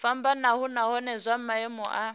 fhambanaho nahone zwa maimo a